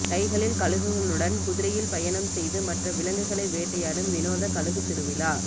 கைகளில் கழுகுகளுடன் குதிரையில் பயணம் செய்து மற்ற விலங்குகளை வேட்டையாடும் வினோத கழுகு திருவிழா